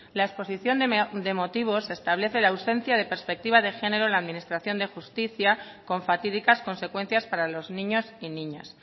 la exposición de motivos establece la ausencia de perspectiva de género en la administración de justicia con fatídicas consecuencias para los niños y niñas